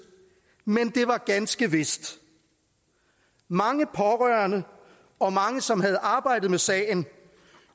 men det var ganske vist mange pårørende og mange som havde arbejde med sagen